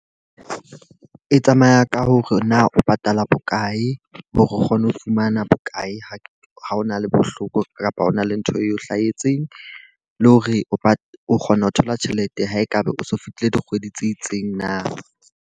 E tsamaya ka hore na o patala bokae. Hore o kgone ho fumana bokae ho ha ona le bohloko kapa hona le ntho eo hlahetseng. Le hore o kgona ho thola tjhelete ha e ka ba o so fetile dikgwedi tse itseng na.